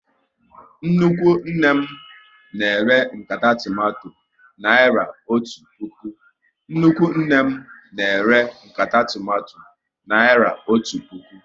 Nnukwu nne m na ere nkata tomato naira otu puku